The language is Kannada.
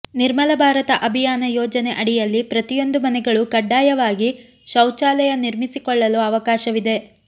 ನಿರ್ಮಲ ಭಾರತ ಅಭಿಯಾನ ಯೋಜನೆ ಅಡಿಯಲ್ಲಿ ಪ್ರತಿಯೊಂದು ಮನೆಗಳು ಕಡ್ಡಾಯವಾಗಿ ಶೌಚಾಲಯ ನಿರ್ಮಿಸಿಕೊಳ್ಳಲು ಅವಕಾಶವಿದೆ